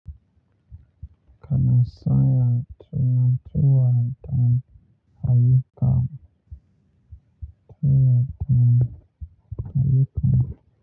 Kana saya suna tuwaɗan ha yuka.